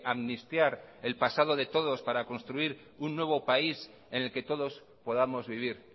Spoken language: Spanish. amnistiar el pasado de todos para construir un nuevo país en el que todos podamos vivir